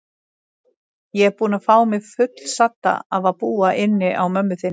Ég er búin að fá mig fullsadda af að búa inni á mömmu þinni.